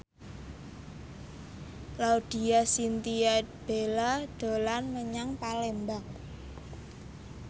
Laudya Chintya Bella dolan menyang Palembang